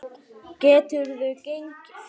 Geturðu gengið?